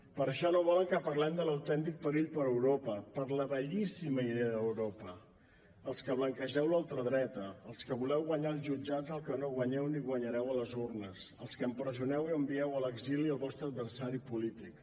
per això no volen que parlem de l’autèntic perill per a europa per a la bellíssima idea d’europa els que blanquegeu la ultradreta els que voleu guanyar als jutjats el que no guanyeu ni guanyareu a les urnes els que empresoneu i envieu a l’exili el vostre adversari polític